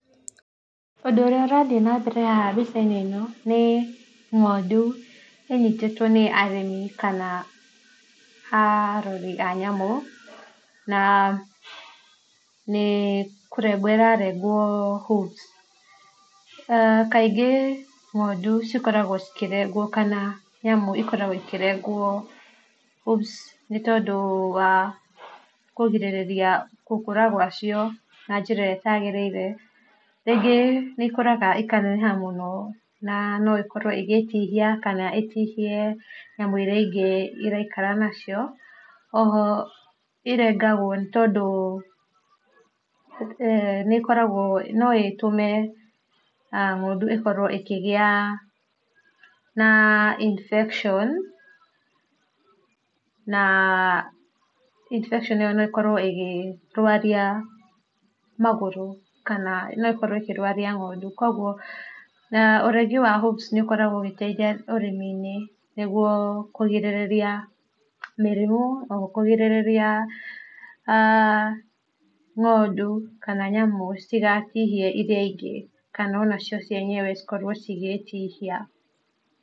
Ũndũ ũrĩa ũrathiĩ na mbere haha mbica ino nĩ ng'ondũ ĩnyĩtĩtwo nĩ arĩmi kana arorĩ a nyamũ na nĩ nĩkũrengwo ĩrarengwo hooves aah kaingĩ ng'ondũ cikoragwo cikĩrengwo kana nyamũ ĩkoragwo ikĩrengwo hooves nĩ tondũ wa kũgĩrĩrĩria gũkũra gwa cio na njĩra ĩrĩa ĩtagĩrĩire rĩngĩ nĩ ĩkoraga ĩkaneneha mũno na noĩkorwo ĩgĩtihia kana ĩtihie nyamũ iria ingĩ ĩraikara na cio oho ingagwo nĩ tondũ eeh nĩkoragwo no ĩtũme aah ng'ondũ ĩkorwo ĩkĩgĩa na infection na infection ĩyo no ĩkorwo ĩkĩrwaria magũrũ kana no ĩkorwo ĩkĩrwaria ng'ondũ kũogũo na ũrengi wa hooves nĩ ũkoragwo ũgĩteithia ũrĩmi inĩ nĩgũo kũgĩrĩrĩria marimũ kũgĩrĩrĩria aah ng'ondũ kana nyamũ citĩgatihie irĩa ingĩ kana ona cio cienyewe citĩgakorwo ĩgĩtihia.